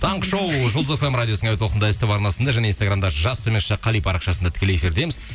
таңғы шоу жұлдыз фм радиосының әуе толқынында ств арнасында және инстаграмда жас қали парақшасында тікелей эфирдеміз